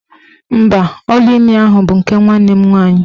Mba, ọlaimi ahụ bụ nke nwanne m nwaanyị.